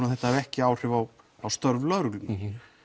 að þetta hafi ekki áhrif á á störf lögreglunnar